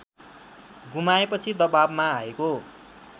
गुमाएपछि दवाबमा आएको